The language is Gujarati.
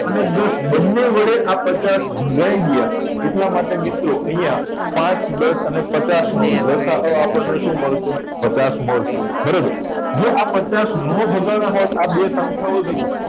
અને દસ આ બંને વડે પચાસ ભગાઈ ગયા એટલા માટે મિત્રો અહીંયા પાચ દસ પચાસ નો લસાઅ આપણને શું મળશે પચાસ મળશે બરાબર જો પચાસના ભગાડવા હોત આ બે સંખ્યાઓ થી